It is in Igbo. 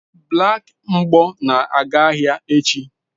Black mgbo na-aga ahịa echi